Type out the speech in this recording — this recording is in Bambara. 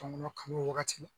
Tɔnkɔnɔ kanu o wagati la